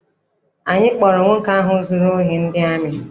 Anyị kpọọrọ nwoke ahụ zụrụ ohi ndị amị.